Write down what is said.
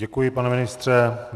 Děkuji, pane ministře.